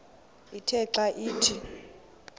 ithe xa ithi